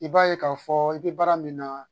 I b'a ye k'a fɔɔ i be baara min na